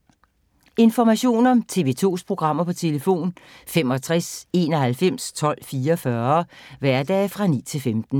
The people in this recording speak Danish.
Information om TV 2's programmer: 65 91 12 44, hverdage 9-15.